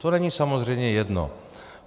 To není samozřejmě jedno.